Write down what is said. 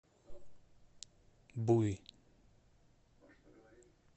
буй